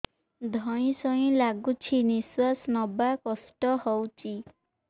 ଧଇଁ ସଇଁ ଲାଗୁଛି ନିଃଶ୍ୱାସ ନବା କଷ୍ଟ ହଉଚି